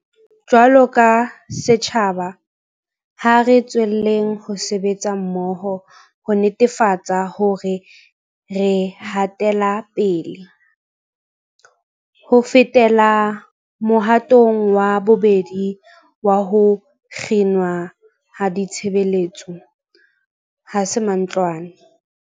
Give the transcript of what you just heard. Jwaloka setjhaba, ha re tswelleng ho sebetsa mmoho ho netefatsa hore re hatela pele. Ho fetela mohatong wa bobedi wa ho kginwa ha ditshebeletso ha se mantlwane.